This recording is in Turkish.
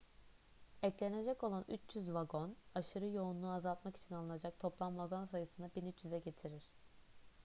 eklenecek olan 300 vagon aşırı yoğunluğu azaltmak için alınacak toplam vagon sayısını 1300'e getirir